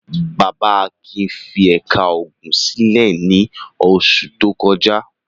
Akin fi ẹ̀ka ogun sílẹ̀ ní oṣù tó kọjá.